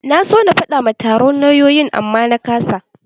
Na so na faɗa ma taron lauyoyin amma na ƙasa.